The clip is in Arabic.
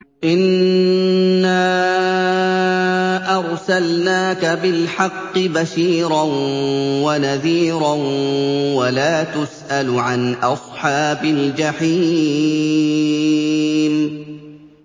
إِنَّا أَرْسَلْنَاكَ بِالْحَقِّ بَشِيرًا وَنَذِيرًا ۖ وَلَا تُسْأَلُ عَنْ أَصْحَابِ الْجَحِيمِ